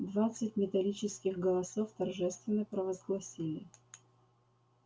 двадцать металлических голосов торжественно правозгласили